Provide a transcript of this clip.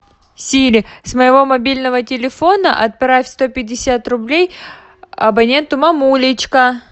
сири с моего мобильного телефона отправь сто пятьдесят рублей абоненту мамулечка